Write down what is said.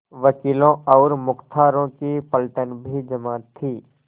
वकीलों और मुख्तारों की पलटन भी जमा थी